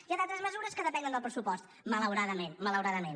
hi ha d’altres mesures que depenen del pressupost malauradament malauradament